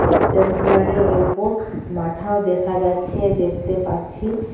একটা চেয়ারের অল্প মাথাও দেখা যাচ্ছে দেখতে পাচ্ছি।